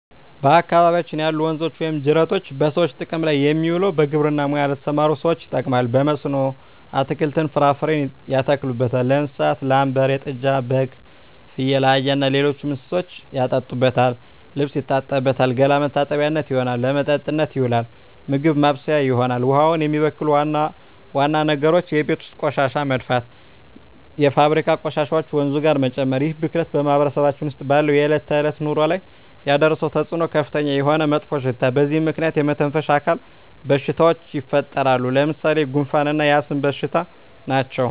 በአካባቢያችን ያሉ ወንዞች ወይም ጅረቶች በሰዎች ጥቅም ላይ የሚውለው በግብርና ሙያ ለተሠማሩ ሠዎች ይጠቅማል። በመስኖ አትክልትን፣ ፍራፍሬ ያተክሉበታል። ለእንስሳት ላም፣ በሬ፣ ጥጃ፣ በግ፣ ፍየል፣ አህያ እና ሌሎች እንስሶችን ያጠጡበታል፣ ልብስ ይታጠብበታል፣ ገላ መታጠቢያነት ይሆናል። ለመጠጥነት ይውላል፣ ምግብ ማብሠያ ይሆናል። ውሃውን የሚበክሉ ዋና ዋና ነገሮች የቤት ውስጥ ቆሻሻ መድፋት፣ የፋብሪካ ቆሻሾችን ወንዙ ጋር መጨመር ይህ ብክለት በማህበረሰባችን ውስጥ ባለው የዕለት ተዕለት ኑሮ ላይ ያደረሰው ተፅኖ ከፍተኛ የሆነ መጥፎሽታ በዚህ ምክንያት የመተነፈሻ አካል በሽታዎች ይፈጠራሉ። ለምሣሌ፦ ጉንፋ እና የአስም በሽታ ናቸው።